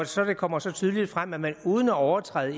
så kommer så tydeligt frem at man uden at overtræde